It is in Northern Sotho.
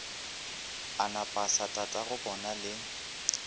a na pasa tatagobona le